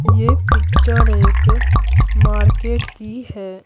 ये पिक्चर एक मार्केट की है।